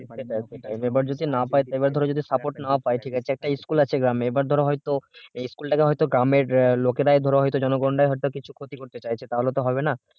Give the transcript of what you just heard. এবার যদি না পায় এবার ধরো support না পায় ঠিক আছে একটা school আছে গ্রামে ধরো হয়তো এই school টাকে হয়তো গ্রামের লোকেরাই হয়তো জনগণের রায়ে হয়তো কিছু ক্ষতি করতে চাইছে তাহলে তো হবে না